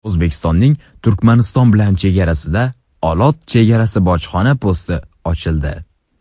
O‘zbekistonning Turkmaniston bilan chegarasida Olot chegara-bojxona posti ochildi .